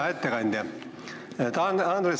Hea ettekandja Andres!